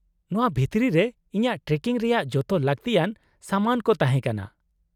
-ᱱᱚᱶᱟ ᱵᱷᱤᱛᱨᱤ ᱨᱮ ᱤᱧᱟᱹᱜ ᱴᱨᱮᱠᱤᱝ ᱨᱮᱭᱟᱜ ᱡᱚᱛᱚ ᱞᱟᱹᱠᱛᱤᱭᱟᱱ ᱥᱟᱢᱟᱱ ᱠᱚ ᱛᱟᱦᱮᱸ ᱠᱟᱱᱟ ᱾